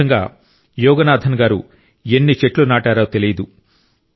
ఈ విధంగా యోగనాథన్ గారు ఎన్ని చెట్లు నాటారో తెలియదు